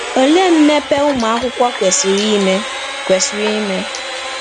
Olee mmepe ụmụakwụkwọ kwesịrị ime? kwesịrị ime?